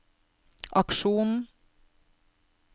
aksjonen